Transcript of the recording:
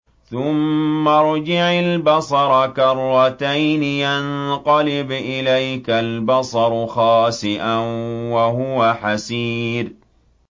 ثُمَّ ارْجِعِ الْبَصَرَ كَرَّتَيْنِ يَنقَلِبْ إِلَيْكَ الْبَصَرُ خَاسِئًا وَهُوَ حَسِيرٌ